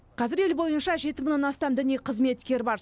қазір ел бойынша жеті мыңнан астам діни қызметкер бар